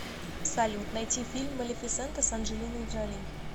салют найти фильм малефисента с анджелиной джоли